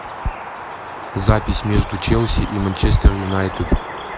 запись между челси и манчестер юнайтед